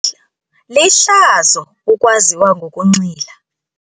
Lihlazo ukwaziwa ngokunxila.